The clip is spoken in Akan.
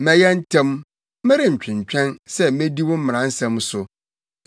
Mɛyɛ ntɛm, merentwentwɛn sɛ medi wo mmara nsɛm so.